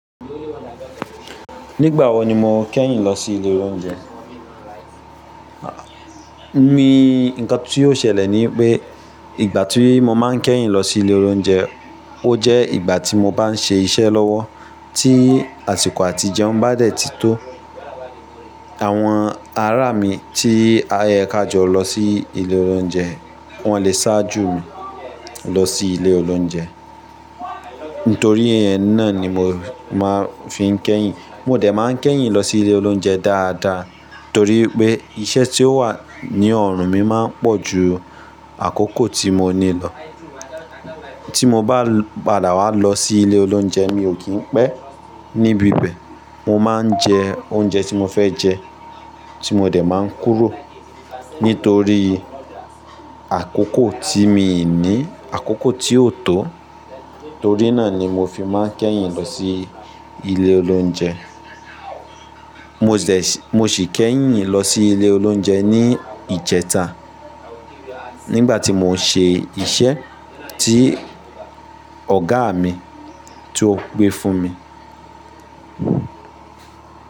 Nígbà wo ni mo kẹ́yìn lọ sí ilé oúnjẹ? Mi, nǹkan ti ó ṣẹlẹ̀ ni wipé ìgbà tí mo máa ń kẹ́yìn lọ sí ilé oúnjẹ, ó jẹ́ ìgbà tí mo bá ń ṣe iṣẹ́ lọ́wọ́. Tí àsìkò àtijẹ́huń bá dẹ̀ ti tó, àwọn ará mi tí a o yẹ ká jọ lọ sí ilé oúnjẹ, wọ́n lè sáájú mi lọ sí ilé oúnjẹ. Nítorí ẹ náà ni mo máa fi n kẹ́yìn. Mo dẹ̀ máa ń kẹ́yìn lọ sí ilé oloúnjẹ dáadáa torí pé iṣẹ́ tí ó wà ní ọ̀rùn mi máa ń pọ̀ ju àkókò tí mo ní lọ. Tí mo bá padà wá lọ sí ilé oúnjẹ mi ò kí ń pẹ́ níbi bẹ̀. Mo máa ń jẹ oúnjẹ tí mo fẹ́ jẹ tí mo dẹ̀ máa ń kúrò. Nítorí àkókò tí mii ní, àkókò tí ò tó. Torí náà ni mo fi máa ń kẹ́yìn lọ sí ilé oúnjẹ. Mo ṣì kẹ́yìn lọ sí ilé oúnjẹ ní ìjẹta nígbà tí mò ń ṣe iṣẹ́ tí ọ̀gá mi tí ó gbé fún mi.